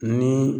Ni